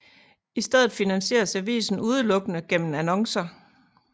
I stedet finansieres avisen udelukkende gennem annoncer